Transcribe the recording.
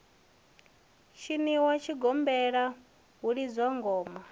tshiniwa tshigombela hu lidzwa ngoma